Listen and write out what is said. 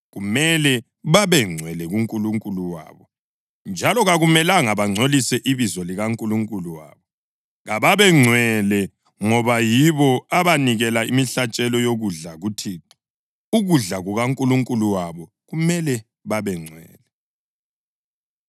Kumele babengcwele kuNkulunkulu wabo, njalo kakumelanga bangcolise ibizo likaNkulunkulu wabo. Kababe ngcwele ngoba yibo abanikela imihlatshelo yokudla kuThixo, ukudla kukaNkulunkulu wabo, kumele babengcwele.